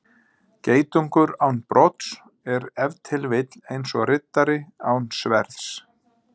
Geitungur án brodds er ef til vill eins og riddari án sverðs.